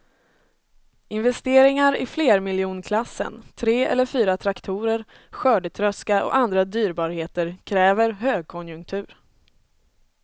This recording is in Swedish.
Investeringar i flermiljonklassen, tre eller fyra traktorer, skördetröska och andra dyrbarheter kräver högkonjunktur.